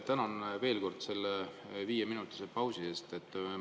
Tänan veel kord selle viieminutilise pausi eest!